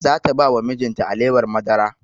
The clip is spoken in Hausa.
Za ta ba wa mijin ta alewar madara